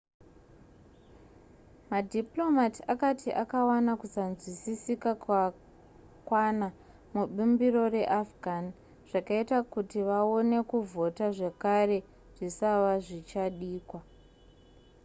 madiplomat akati akawana kusanzwisisika kwakwana mubumbiro rekuafghan zvakaita kuti vaone kuvhota zvakare zvisava zvichadikwa